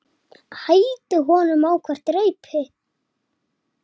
Stundi ofan í balann.